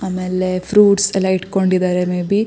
ಆಮೇಲೆ ಫ್ರೂಟ್ಸ್ ಎಲ್ಲ ಇಟ್ಕೊಂಡಿದ್ದಾರೆ ಮೇ ಬಿ --